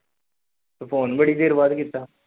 ਤੂੰ phone ਬੜੀ ਦੇਰ ਬਾਅਦ ਕੀਤਾ।